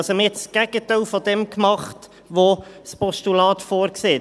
Man hat also das Gegenteil von dem gemacht, was das Postulat vorsieht.